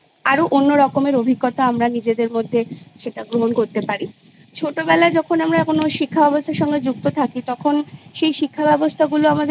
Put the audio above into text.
আরো অন্য রকমের অভিজ্ঞতা আমরা নিজেদের মধ্যে সেটা গ্রহণ করতে পারি ছোটোবেলায় যখন আমরা কোনো শিক্ষা ব্যবস্থার সঙ্গে যুক্ত থাকি তখন সেই শিক্ষাব্যবস্থাগুলো মূলত অনেক কিছু শেখায়